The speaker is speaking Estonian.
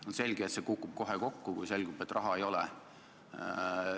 On selge, et see kukub kohe kokku, kui selgub, et raha ei ole.